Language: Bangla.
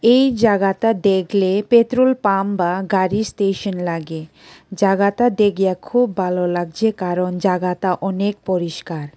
এই জাগাতা দেখলে পেট্রোল পাম বা গাড়ির স্টেশন লাগে জাগাতা দেখো ভালো লাগছে কারণ জাগাতা অনেক পরিষ্কার।